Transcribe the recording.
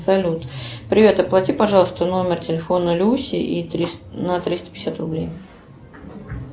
салют привет оплати пожалуйста номер телефона люси на триста пятьдесят рублей